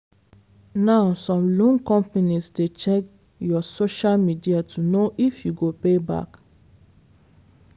now some loan companies dey check your social media to know if you go pay back.